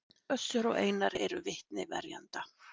Össur og Einar eru vitni verjenda